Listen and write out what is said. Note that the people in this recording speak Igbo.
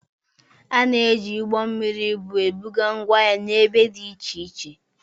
A na-eji ụgbọ mmiri ibu ebuga ngwa ahịa n'ebe dị iche iche.